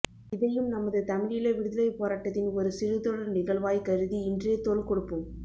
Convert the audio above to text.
இதையும் நமது தமிழீழ விடுதலைப் போராட்டத்தின் ஒரு சிறு தொடர் நிகழ்வாய்க் கருதி இன்றே தோள் கொடுப்போம்